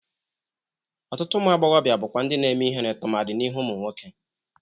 Ọtụtụ ụmụ agbọghọbịa bụkwa ndị na-eme ihere tụmadị n'ihu ụmụ nwoke.